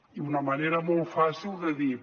i una manera molt fàcil de dir